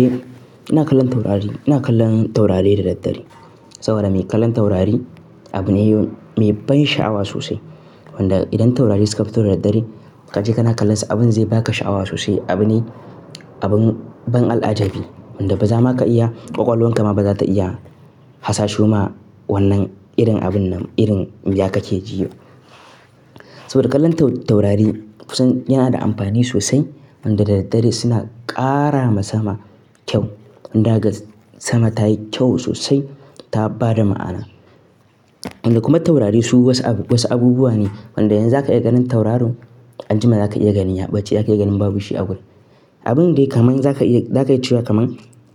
Eh ina kallon taurari, ina kallon taurari dare-dare. Saboda me kallon taurari abune mai ban sha'awa sosai. Wanda idan taurari suka fito da dare ka je ka na kallon su abin zai baka sha'awa sosai. Abu ne abun ban al'ajabi wanda ba za'a iya ƙwaƙwalwarka ba za ta iya hasaso ma wannan irin abun nan irin ya kake ji. Saboda kallon taurari kusan yana da amfani sosai. Wadda da daddare suna ƙara wa sama kyau. Waɗanda zaka ga sama ta yi kyau sosai ta ba da ma'ana. Waɗanda kuma taurari su wasu abubuwa ne waɗanda yanzu zaka iya ganin tauraro an jima zaka iya gani ya ɓace, zaka iya ganin babu shi a wurin. Abin dai kamar zaka iya cewa kamar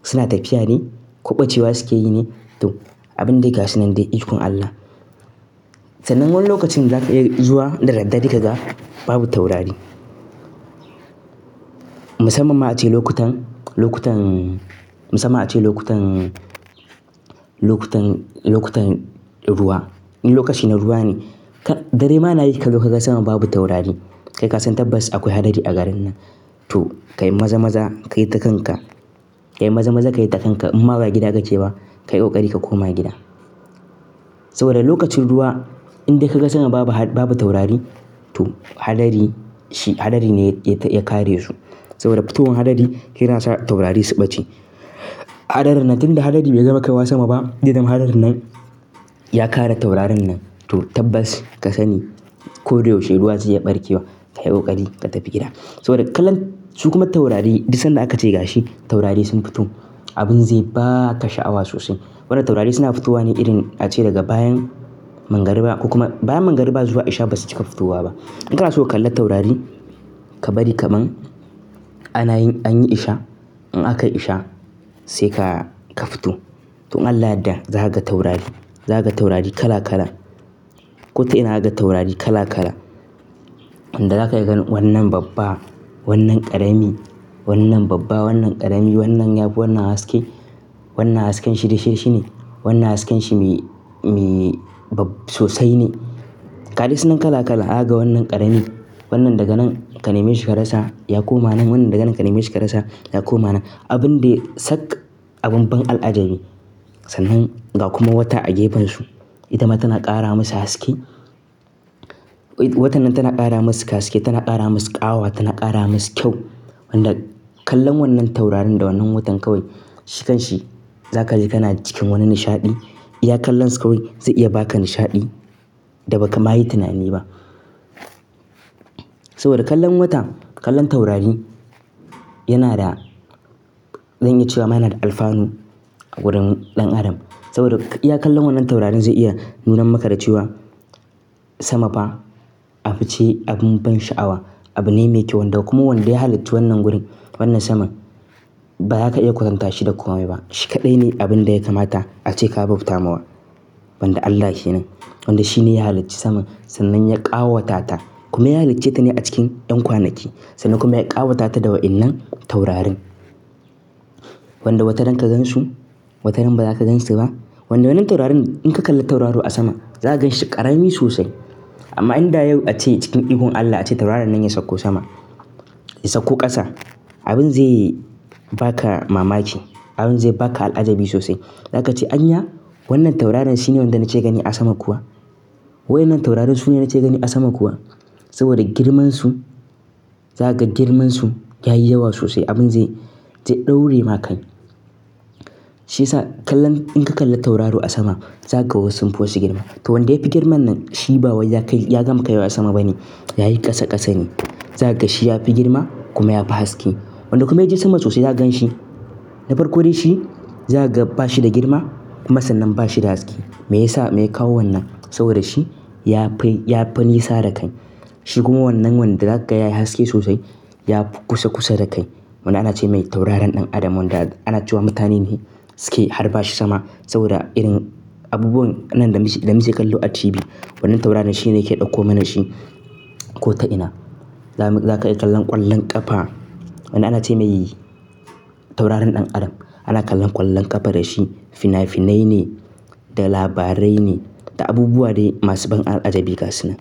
suna tafiya ne ko ɓacewa suke yi ne to abin dai ga shi nan dai ikon Allah. Sannan wani lokacin zaka iya zuwa da daddare kaga babu taurari. Musamman ma ace lokacin, lokacin, musamman ace lokacin, lokacin, lokacin ruwa. Lokaci na ruwa ne. Dare ma na yi ka zo ka ga sama babu taurari. Kai ka san tabbas akwai hadari a garin nan. To ka yi maza-maza ka yi ta kanka. Ka yi maza-maza ka yi ta kanka in ba gida kake ba ka yi ƙoƙari ka koma gida. Saboda lokacin ruwa in dai ka ga sama babu taurari to hadari shi hadari ne ya kare su. Saboda fitowar hadari yana sa taurari su ɓace. Hadarin nan tunda hadari bai gama kai wa sama ba, irin hadarin nan ya kare taurarin nan to tabbas ka sani ko da yaushe ruwa zai iya ɓarke wa. Ka yi ƙoƙari ka tafi gida. Saboda kallon su kuma taurari duk sanda aka ce gashi taurari sun fito abin zai baka sha'awa sosai. Wanda taurari suna fitowa ne irin ace daga bayan magriba ko kuma bayan magriba zuwa isha basu cika fito wa ba. Ina kana so ka kalli taurari ka bari kamar ana yin anyi isha in aka yi isha sai ka fito. To in Allah ya yarda za ka ga taurari. Za ka ga taurari kala kala. Ko ta ina za ka ga taurari kala- kala. Wanda za ka ga wannan babba, wannan ƙarami, wannan babba, wannan ƙarami, wannan ya fi wannan haske. Wannan hasken shi dishi-dishi ne. Wannan hasken shi mi sosai ne. Ga dai sunan kala- kala. Zaka ga wannan ƙarami wannan daga nan ka neme shi ka rasa ya koma nan. Wannan daga nan ka neme shi ka rasa ya koma nan. Abin dai sak abun ban al'ajabi. Sannan ga kuma wata a gefen su. Ita ma tana ƙara masa haske. Watan nan tana ƙara masu haske, tana ƙara masu ƙawa, tana ƙara masu kyau. Wanda kallon wannan taurarin da wannan watan kawai shi kan shi za ka ji kana cikin wani nishaɗi. Iya kallon su kawai zai iya baka nishaɗi da ba ka ma yi tunani ba. Saboda kallon wata kallon taurari yana da zan iya cewa ma yana da alfanu a wurin ɗan adam. Saboda iya kallon wannan taurarin zai iya nuna maka da cewa sama fa abu ce abun ban sha'awa abune mai kyau. Wanda kuma wanda ya halicci wannan wurin wannan saman ba za ka iya kwatanta shi da komai ba. Shi kaɗai ne abin da ya kamata ace ka bauta masa. Wanda Allah ke nan. Wanda shi ne ya halicci sama sannan ya ƙawata ta kuma ya halicce ta ne a cikin yan kwanaki. Sannan kuma ya ƙawata ta da waɗannan taurarin. Wanda wata rana ka gansu wata rana ba za ka gansu ba. Wanda wannan taurarin in ka kalla tauraro a sama za ka ganshi ƙarami sosai. Amma in da yau ace cikin ikon Allah ace tauraron nan ya sauko sama, ya sauko ƙasa abin zai baka mamaki. Abin zai baka al'ajabi sosai. Za ka ce anya wannan tauraron shi ne wanda nake gani a sama kuwa? Wayannan taurarin su ne nake gani a sama kuwa? Saboda girman su za ka ga girman su yayi yawa sosai abin zai ɗaure maka kai. Shi ya sa kallon in ka kalla tauraro a sama za ka ga wasu mafi girma. To wanda yafi girman nan shi ba wai ya gama kaiwa sama ba ne. Yayi ƙasa ƙasa ne. Za ka ga shi yafi girma kuma yafi haske. Wanda kuma ya je sama sosai za ka gan shi. Na farko dai shi za ka ga bashi da girma kuma sannan bashi da haske. Mai yasa? Mai ya kawo wannan saboda shi ya fi ya fi nisa da kai. Shi kuma wannan wanda za ka ga yayi haske sosai ya fi kusa- kusa da kai. Wanda ana ce mai taurarin ɗan adam wanda ana cewa mutane ne suke harba shi sama saboda irin abubuwan nan da muke kallo a tv. Wannan taurarin su ne suke ɗauko mana shi ko ta ina. Za ka iyi kallon ƙwallon ƙafa. Wanda ana ce mai taurarin ɗan adam ana kallon ƙwallon ƙafa da shi. Fina-finai ne da labarai ne da abubuwa dai masu ban al'ajabi ga su nan.